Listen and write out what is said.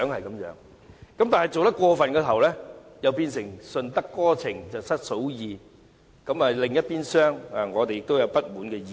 然而，若是太過分的話，卻會變成"順得哥情失嫂意"，因另一邊廂，我們都會有不滿的意見。